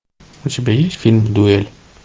у тебя есть фильм дуэль